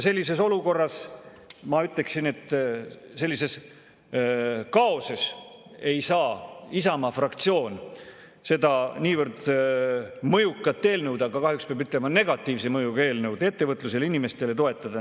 Sellises olukorras, ja ma ütleksin, sellises kaoses ei saa Isamaa fraktsioon seda niivõrd mõjukat eelnõu – kahjuks peab ütlema, et negatiivse mõjuga eelnõu ettevõtlusele ja inimestele – toetada.